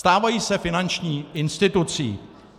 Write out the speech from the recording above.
Stávají se finanční institucí.